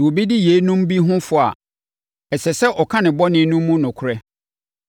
Sɛ obi di yeinom bi ho fɔ a, ɛsɛ sɛ ɔka ne bɔne no mu nokorɛ